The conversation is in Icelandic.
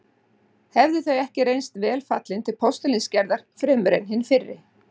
Hefðu þau ekki reynst vel fallin til postulínsgerðar fremur en hin fyrri.